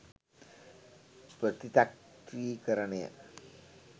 ප්‍රතිචක්‍රීයකරණය